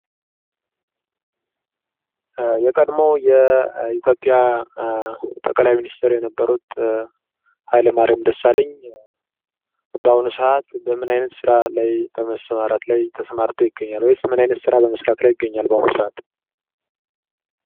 የቀድሞ የኢትዮጵያ ጠቅላይ ሚኒስትር የነበሩት ሀይለ ማሪያም ደሳለኝ በአሁኑ ሰዓት በምን አይነት ስራ ላይ በመሰማራት ላይ ተሰማርተው ይገኛሉ ወይስ ምን አይነት ስራ በመስራት ላይ ይገኛል በአሁኑ ሰዓት?